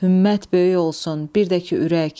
Hümmət böyük olsun, bir də ki ürək.